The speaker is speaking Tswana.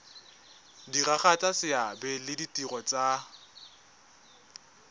diragatsa seabe le ditiro tsa